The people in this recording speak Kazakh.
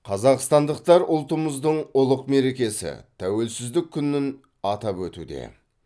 қазақстандықтар ұлтымыздың ұлық мерекесі тәуелсіздік күнін атап өтуде